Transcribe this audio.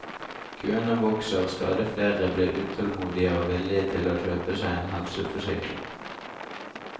Køene vokser, stadig flere blir utålmodige og villige til å kjøpe seg en helseforsikring.